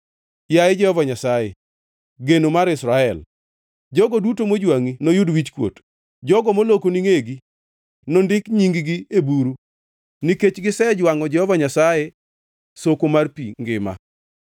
Yaye Jehova Nyasaye, geno mar Israel, jogo duto mojwangʼi noyud wichkuot. Jogo molokoni ngʼegi nondik nying-gi e buru nikech gisejwangʼo Jehova Nyasaye, soko mar pi ngima.